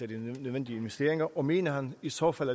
de nødvendige investeringer og mener han i så fald